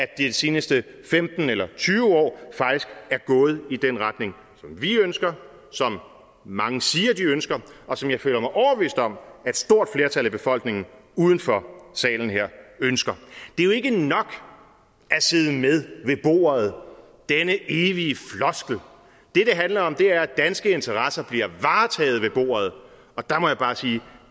de seneste femten eller tyve år faktisk er gået i den retning som vi ønsker som mange siger de ønsker og som jeg føler mig overbevist om et stort flertal i befolkning uden for salen her ønsker det er jo ikke nok at sidde med ved bordet denne evige floskel det det handler om er at danske interesser bliver varetaget ved bordet og der må jeg bare sige